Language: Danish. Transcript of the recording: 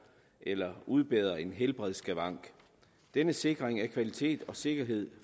eller udbedret en helbredsskavank denne sikring af kvalitet og sikkerhed